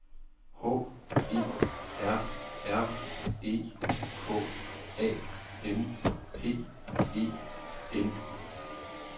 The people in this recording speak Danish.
H E R R E K A M P E N